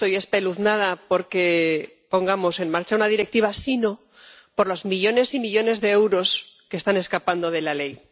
Yo no estoy espeluznada por que pongamos en marcha una Directiva, sino por los millones y millones de euros que están escapando de la ley.